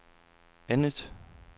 andet